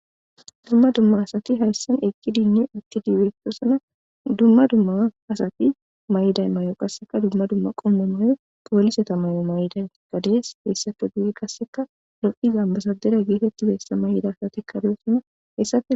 dumma dumma asati hayssan eqidi dinne itti dibestosana dumma dumma asati may7iday may7o qasseka dumma dumma qomma mayo pooliseta mayo may7iday gadees heessafo duyi gasseka lo7iza basadera geetetti bessa may7ida asatikkadoossana hessaf